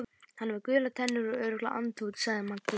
Hann er með gular tennur, örugglega andfúll sagði Magga.